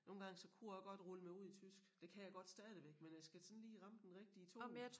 Nogle gange så kunne jeg også godt rulle mig ud i tysk. Det kan jeg godt stadigvæk men jeg skal sådan lige ramme den rigtige tone